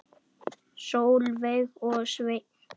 Sólveig og Sveinn.